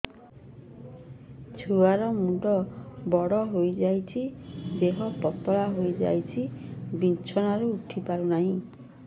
ଛୁଆ ର ମୁଣ୍ଡ ବଡ ହୋଇଯାଉଛି ଦେହ ପତଳା ହୋଇଯାଉଛି ବିଛଣାରୁ ଉଠି ପାରୁନାହିଁ